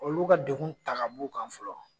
Olu ka degun ta k'a b'u kan fɔlɔ.